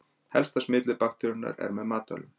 Helsta smitleið bakteríunnar er með matvælum.